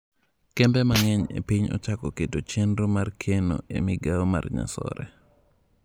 Kembe mang'eny e piny ochako keto chenro mar keno e migao mar nyasore.